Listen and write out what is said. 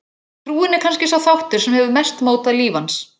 Trúin er kannski sá þáttur sem hefur mest mótað líf hans.